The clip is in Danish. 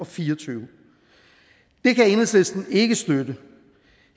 fire og tyve det kan enhedslisten ikke støtte